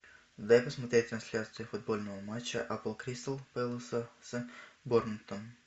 дай посмотреть трансляцию футбольного матча апл кристал пэласа с борнмутом